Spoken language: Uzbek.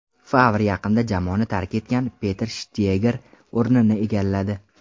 Favr yaqinda jamoani tark etgan Peter Shtyeger o‘rnini egalladi.